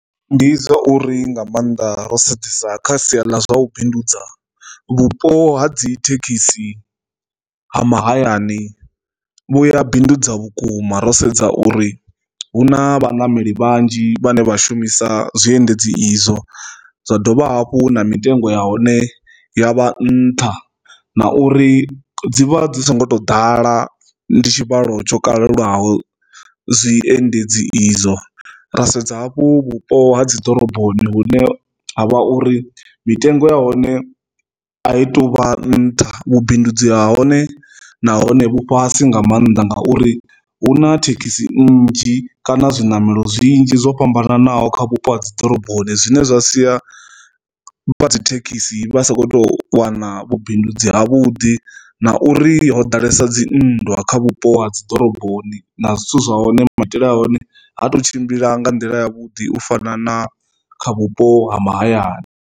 Ndi zwa uri nga maanḓa ro sedzesa kha sia ḽa zwa u bindudza vhupo ha dzi thekhisi ha mahayani vhuya bindudza vhukuma ro sedza uri hu na vhanameli vhanzhi vhane vha shumisa zwiendedzi izwo zwa dovha hafhu na mitengo ya hone ya vha nṱha na uri dzivha dzi so ngo to ḓala ndi tshivhalo tsho kalulaho zwiendedzi izwo. Ra sedza hafhu vhupo ha dziḓoroboni hune ha vha uri mitengo ya hone a i tuvha nṱha vhubindudzi ha hone nahone vhu fhasi nga maanḓa nga uri huna thekhisi nnzhi kana zwiṋamelo zwinzhi zwo fhambanaho kha vhupo ha dzi ḓoroboni zwine zwa sia vhathi thekhisi vha sa khou tou wana vhubindudzi ha vhuḓi na uri ho ḓalesa dzinndwa kha vhupo ha dziḓoroboni na zwithu zwa hone maitele a hone ha tou tshimbila nga nḓila ya vhuḓi u fana na kha vhupo ha mahayani.